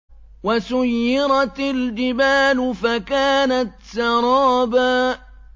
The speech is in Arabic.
وَسُيِّرَتِ الْجِبَالُ فَكَانَتْ سَرَابًا